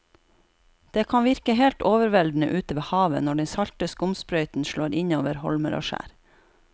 Det kan virke helt overveldende ute ved havet når den salte skumsprøyten slår innover holmer og skjær.